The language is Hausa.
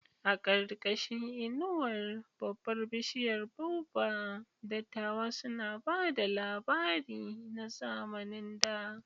A ƙarƙashin inuwar babbar bishiyar baobab, dattawa suna ba da labari na zamanin da.